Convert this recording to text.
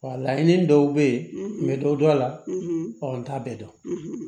Wa laɲini dɔw bɛ ye n bɛ dɔ dɔn a la ɔ n t'a bɛɛ dɔn